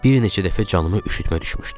Bir neçə dəfə canıma üşütmə düşmüşdü.